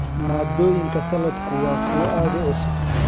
Maaddooyinka saladku waa kuwo aad u cusub.